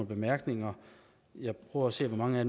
bemærkninger jeg prøver at se hvor mange af